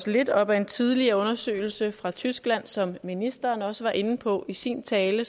lidt op ad en tidligere undersøgelse fra tyskland som ministeren også var inde på i sin tale